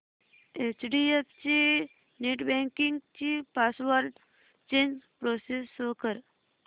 HDFC netbanking ची password change process show कर